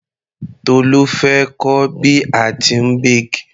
Tolu fẹ́ kọ́ bí a tíì bake.